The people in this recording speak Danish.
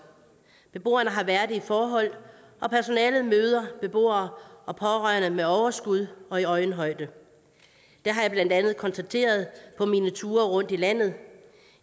beboerne har værdige forhold og personalet møder beboere og pårørende med overskud og i øjenhøjde det har jeg blandt andet konstateret på mine ture rundt i landet